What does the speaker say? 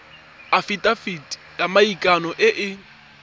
afitafiti ya maikano e e